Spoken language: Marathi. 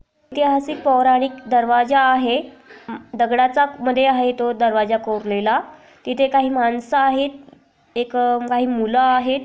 एक ऐतिहासिक पौराणिक दरवाजा आहे दगडाचा मध्ये आहे तो दरवाजा कोरलेला तिथे काही माणसं आहेत एक अं काही मुलं आहेत.